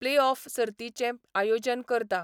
Playoff सर्तींचें आयोजन करता.